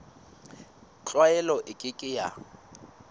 tlwaelo e ke ke ya